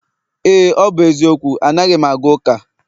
Éè, ọ bụ eziokwu anaghị m aga ụka